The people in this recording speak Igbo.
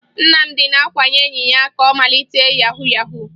Nnamdị na-akwanye enyi ya ka ọ malite yahu yahu